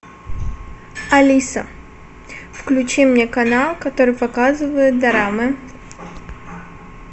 алиса включи мне канал который показывает дорамы